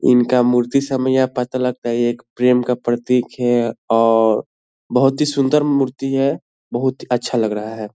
इनका मूर्ति एक प्रेम का प्रतीक है और बहुत ही सुंदर मूर्ति है बहुत ही अच्छा लग रहा है।